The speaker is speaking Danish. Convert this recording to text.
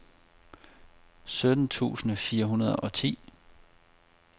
sytten tusind fire hundrede og ti